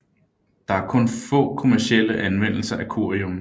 Der er kun få kommercielle anvendelser af curium